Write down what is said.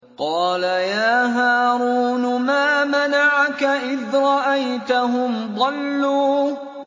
قَالَ يَا هَارُونُ مَا مَنَعَكَ إِذْ رَأَيْتَهُمْ ضَلُّوا